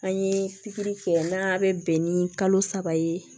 An ye pikiri kɛ n'a bɛ bɛn ni kalo saba ye